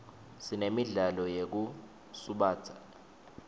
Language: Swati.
sinemidlalo yetekusubatsa